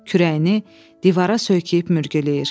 Kürəyini divara söykəyib mürgüləyir.